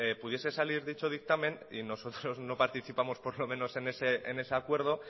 pudiese salir dicho dictamen y nosotros no participamos por lo menos en ese acuerdo